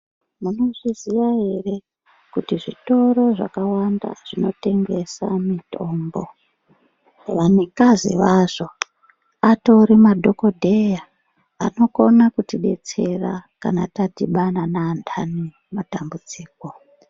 Munozviziya ere kuti zvitoro zvakawanda zvinotengesa mitombo vanikazi vazvo atori madhokodheya anokona kutidetsera kana tadhibama naantani matambudziko.